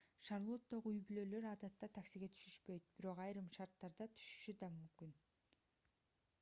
шарлоттогу үй-бүлөлөр адатта таксиге түшүшпөйт бирок айрым шарттарда түшүшү да мүмкүн